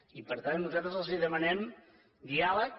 i per tant nosaltres els demanem diàleg